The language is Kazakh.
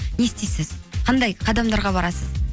не істейсіз қандай қадамдарға барасыз